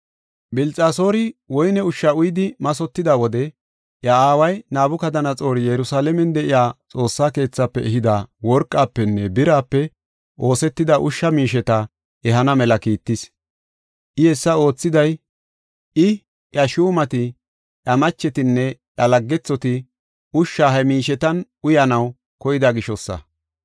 Bilxasoori woyne ushsha uyidi mathotida wode, iya aaway Nabukadanaxoori Yerusalaamen de7iya Xoossa keethafe ehida worqafenne birape oosetida ushsha miisheta ehana mela kiittis. I hessa oothiday I, iya shuumati, iya machetinne iya laggethoti ushsha he miishetan uyanaw koyida gishosa.